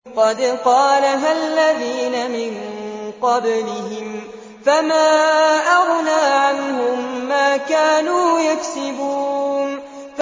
قَدْ قَالَهَا الَّذِينَ مِن قَبْلِهِمْ فَمَا أَغْنَىٰ عَنْهُم مَّا كَانُوا يَكْسِبُونَ